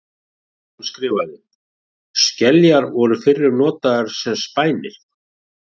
Hann skrifaði: Skeljar voru fyrrum notaðar sem spænir.